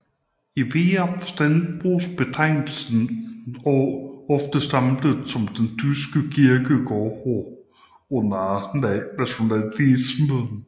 I videre forstand bruges betegnelse ofte samlet om den tyske kirkehistorie under nationalsocialismen